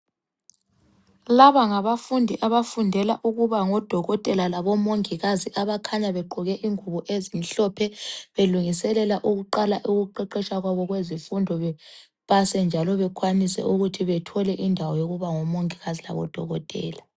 Laba ngabafundi abafundela ukuba ngokodokotela labomongikazi abakhanya begqoke ingubo ezimhlophe belungiselela ukuqala ukuqeqetsha kwabo kwezifundo bepase njalo bekwanise ukuthi bathole indawo yokuthi babe ngomongikazi labodokotela.